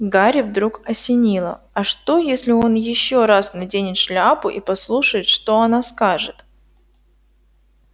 гарри вдруг осенило а что если он ещё раз наденет шляпу и послушает что она скажет